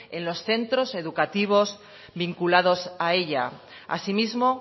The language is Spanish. en los centros educativos vinculados a ella asimismo